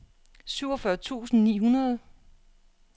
syvogfyrre tusind ni hundrede